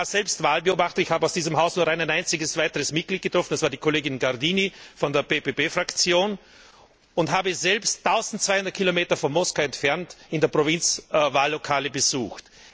Ich war selbst Wahlbeobachter, ich habe aus diesem Haus nur ein einziges Mitglied getroffen, das war die Kollegin Gardini von der PPE Fraktion, und habe selbst eintausendzweihundert Kilometer von Moskau entfernt in der Provinz Wahllokale besucht.